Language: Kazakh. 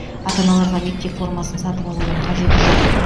ата аналарға мектеп формасын сатып алудың қажеті жоқ